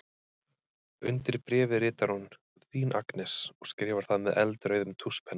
Undir bréfið ritar hún: Þín Agnes og skrifar það með eldrauðum tússpenna.